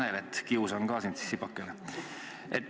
Hea Tanel, kiusan ka sind tsipakene.